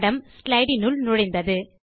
படம் ஸ்லைடு உள் நுழைந்தது